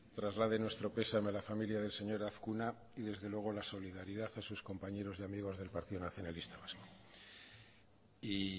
traslade nuestro pesame a la familia del señor azkuna y desde luego la solidaridad a sus compañeros y amigos del partido nacionalista vasco y